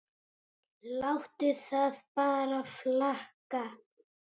Láttu það bara flakka!